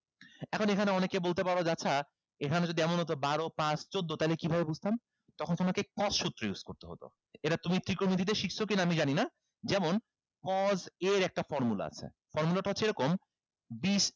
এখন এখানে অনেকে বলতে পারো যে আচ্ছা এখানে যদি এমন হতো বারো পাঁচ চৌদ্দ তাইলে কিভাবে বুঝতাম তখন তোমাকে cos সূত্র use করতে হতো এবার তুমি ত্রিকোণোমিতিতে শিখছো কিনা আমি জানিনা যেমন cos a এর একটা formula আছে formula টা হচ্ছে এরকম